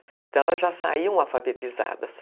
Então, elas já saíam alfabetizadas.